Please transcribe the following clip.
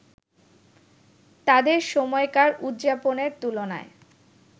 তাদের সময়কার উদযাপনের তুলনায়